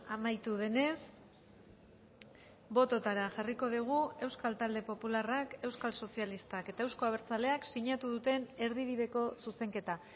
amaitu denez bototara jarriko dugu euskal talde popularrak euskal sozialistak eta euzko abertzaleak sinatu duten erdibideko zuzenketa